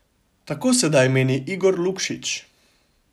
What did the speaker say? Tako sedaj meni Igor Lukšič.